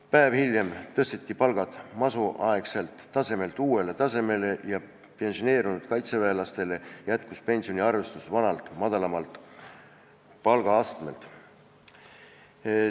Päev hiljem tõsteti palgad masuaegselt tasemelt uuele tasemele ja pensioneerunud kaitseväelastele jätkus penioniarvestus vanalt madalamalt palgaastmelt.